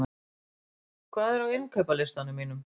Anton, hvað er á innkaupalistanum mínum?